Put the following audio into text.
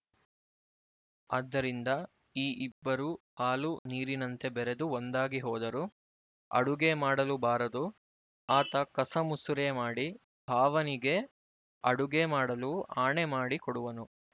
ಆದ್ದರಿಂದ ಈ ಇಬ್ಬರೂ ಹಾಲು ನೀರಿನಂತೆ ಬೆರೆದು ಒಂದಾಗಿ ಹೋದರು ಅಡುಗೆ ಮಾಡಲು ಬಾರದು ಆತ ಕಸಮುಸುರೆ ಮಾಡಿ ಭಾವನಿಗೆ ಅಡುಗೆ ಮಾಡಲು ಆಣೆಮಾಡಿ ಕೊಡುವನು